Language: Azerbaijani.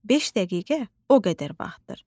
“Beş dəqiqə o qədər vaxtdır.”